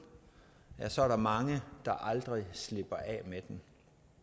ja så er der mange der aldrig slipper af med vanen